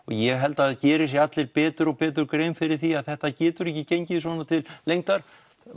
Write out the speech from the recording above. ég held að það geri sér allir betur og betur grein fyrir því að þetta getur ekki gengið svona til lengdar